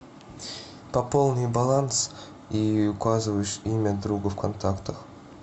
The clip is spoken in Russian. пополни баланс и указываешь имя друга в контактах